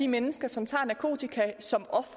mennesket